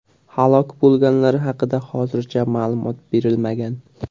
Halok bo‘lganlar haqida hozircha ma’lumot berilmagan.